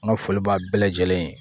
N ka foli b'a bɛɛ lajɛlen